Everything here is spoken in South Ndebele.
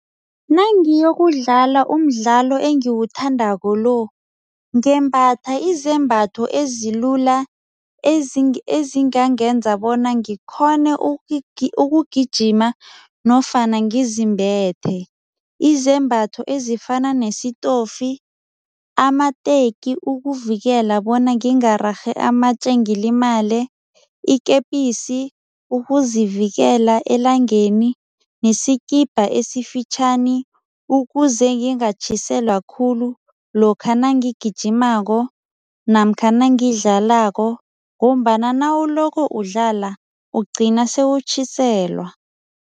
Nangiyokudlala umdlalo engiwuthandako lo, ngembatha izembatho ezilula, ezingangenza bona ngikghone ukugijima nofana ngizimbethe. Izembatho ezifana nesitofi, amateki ukuvikela bona ngingarerhI amatje ngilimale, ikepisi ukuzivikela elangeni nesikibha esifitjhani ukuze ngingatjhiselwa khulu lokha nangigijimako namkha nangidlalako ngombana nawuloko udlala, ugcina sewutjhiselwa.